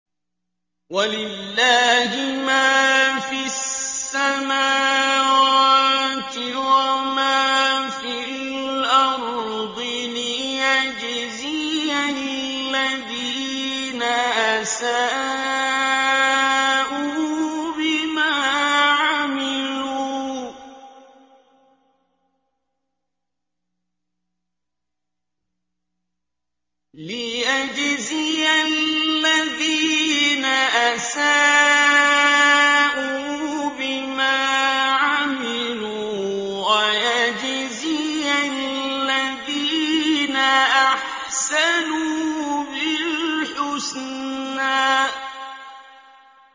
وَلِلَّهِ مَا فِي السَّمَاوَاتِ وَمَا فِي الْأَرْضِ لِيَجْزِيَ الَّذِينَ أَسَاءُوا بِمَا عَمِلُوا وَيَجْزِيَ الَّذِينَ أَحْسَنُوا بِالْحُسْنَى